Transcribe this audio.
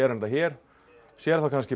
þetta hér sér þá kannski